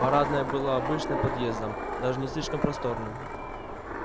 парадная была обычным подъездом даже не слишком просторным